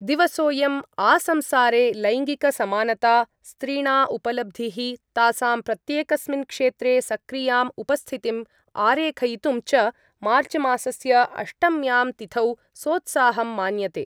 दिवसोयम् आसंसारे लैङ्गिकसमानता, स्त्रीणा उपलब्धिः, तासां प्रत्येकस्मिन् क्षेत्रे सक्रियाम् उपस्थितिम् आरेखयितुम् च मार्चमासस्य अष्टम्यां तिथौ सोत्साहं मान्यते।